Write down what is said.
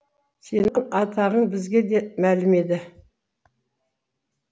сенің атағың бізге де мәлім еді